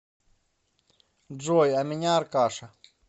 джой а меня аркаша